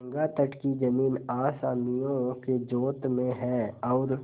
गंगातट की जमीन असामियों के जोत में है और